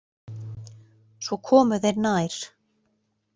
Svo komu þeir nær.